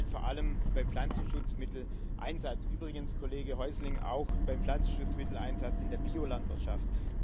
Das gilt vor allem beim Pflanzenschutzmitteleinsatz übrigens, Kollege Häusling, auch beim Pflanzenschutzmitteleinsatz in der Biolandwirtschaft.